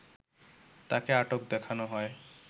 তাকে আটক দেখানো হয়